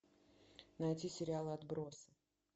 найти сериал отбросы